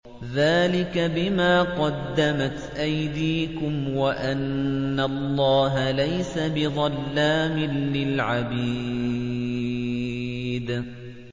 ذَٰلِكَ بِمَا قَدَّمَتْ أَيْدِيكُمْ وَأَنَّ اللَّهَ لَيْسَ بِظَلَّامٍ لِّلْعَبِيدِ